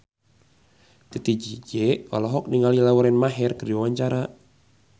Titi DJ olohok ningali Lauren Maher keur diwawancara